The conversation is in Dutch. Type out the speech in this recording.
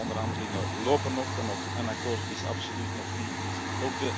Deze onderhandelingen lopen nog, en ook een akkoord is absoluut nog niet in zicht.